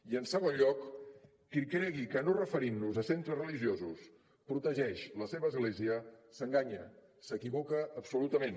i en segon lloc qui cregui que no referint nos a centres religiosos protegeix la seva església s’enganya s’equivoca absolutament